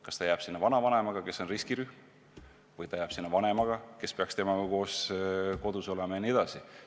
Kas ta jääb sinna vanavanemaga, kes on riskirühm, või ta jääb sinna vanemaga, kes peakski temaga koos kodus olema?